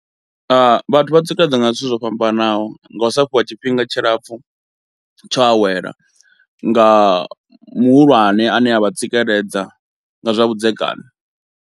Vhathu vha tsikeledza nga zwithu zwo fhambanaho, nga u sa fhiwa tshifhinga tshilapfhu tsho awela, nga muhulwane ane a vha tsikeledza nga zwa vhudzekani.